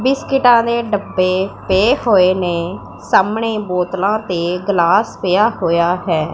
ਬਿਸਕਿਟਾਂ ਦੇ ਡੱਬੇ ਪਏ ਹੋਏ ਨੇ ਸਾਹਮਣੇ ਬੋਤਲਾਂ ਤੇ ਗਲਾਸ ਪਿਆ ਹੋਇਆ ਹੈ।